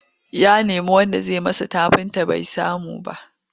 Ya nemi wanda zai masa tafinta bai samu ba.